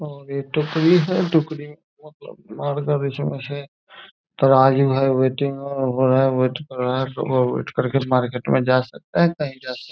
और ये टोकरी है। टोकरी में बहुत तराजू है मार्केट में जा सकता है कही जा सकता है।